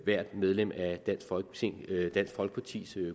hvert medlem af dansk folkepartis